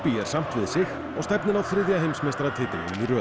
er samt við sig og stefnir á þriðja heimsmeistaratitilinn í röð